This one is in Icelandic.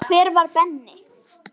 Hver var Benni?